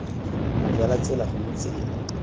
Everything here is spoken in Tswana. moja la tsela gongwe tsela